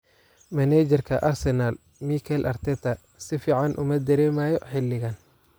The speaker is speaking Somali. Maneajarka Arsenal, Mikel Arteta, si fiican uma dareemayo xilligan.